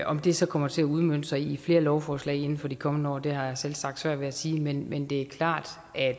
om det så kommer til at udmønte sig i flere lovforslag inden for de kommende år har jeg selvsagt svært ved at sige men men det er klart